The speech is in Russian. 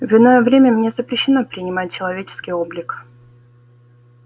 в иное время мне запрещено принимать человеческий облик